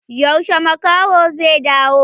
Yaushe makahon zai dawo?